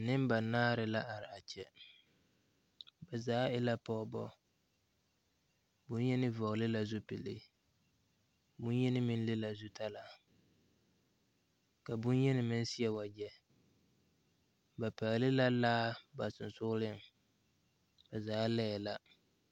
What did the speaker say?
Neba naare la a be kyɛ. Ba zaa e la pogebo. Bonyeni vogle la zupule, bonyeni meŋ le la zutalaa. ka bonyeni meŋ seɛ wagye. Ba pɛgle la laa ba susugleŋ. Ba zaa laɛ la